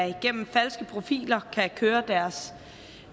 igennem falske profiler kan køre deres